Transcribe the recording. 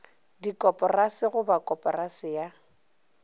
dikoporasi go ba koporasi ya